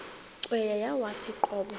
cweya yawathi qobo